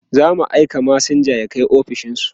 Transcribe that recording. zamu aika masinja ya Kai ofishinsu